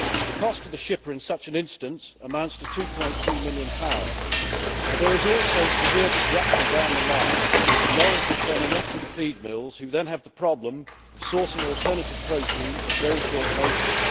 The cost to the shipper in such an instance amounts to GBP 2.3 million, but there is also severe disruption down the line with lorries returning empty to feed mills who then have the problem of sourcing alternative protein at very short notice.